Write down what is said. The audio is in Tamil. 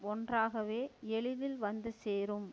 ஒன்றாகவே எளிதில் வந்து சேரும்